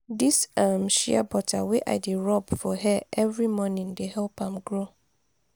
dis um shea butter wey i dey rob for hair every morning dey help am grow.